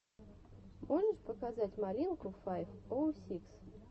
можешь показать малинку файв оу сикс